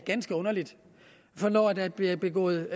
ganske underligt for når der bliver begået